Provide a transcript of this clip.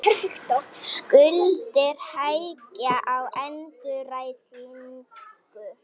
Skuldir hægja á endurreisninni